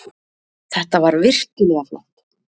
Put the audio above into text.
Þetta var virkilega flott.